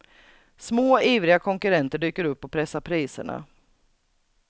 Små, ivriga konkurrenter dyker upp och pressar priserna.